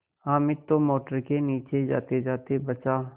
हामिद तो मोटर के नीचे जातेजाते बचा